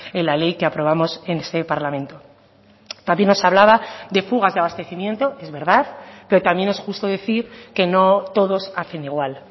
en la ley que aprobamos en este parlamento también nos hablaba de fugas de abastecimiento es verdad pero también es justo decir que no todos hacen igual